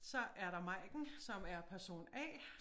Så er der Maiken som er person A